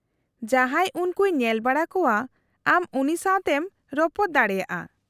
-ᱡᱟᱦᱟᱸᱭ ᱩᱱᱠᱩᱭ ᱧᱮᱞᱵᱟᱲᱟ ᱠᱚᱣᱟ ᱟᱢ ᱩᱱᱤ ᱥᱟᱶᱛᱮᱢ ᱨᱚᱯᱚᱲ ᱫᱟᱲᱮᱭᱟᱜᱼᱟ ᱾